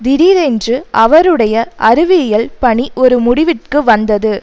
திடீரென்று அவருடைய அறிவியியல் பணி ஒரு முடிவிற்கு வந்தது